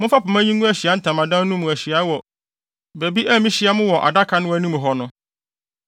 Momfa pema yi ngu Ahyiae Ntamadan no mu ahyiae mu wɔ baabi a mihyia mo wɔ adaka no anim hɔ no.